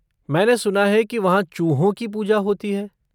मैंने सुना है कि वहाँ चूहों की पूजा होती है!